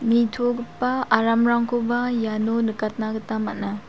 nitogipa aramrangkoba iano nikatna gita man·a.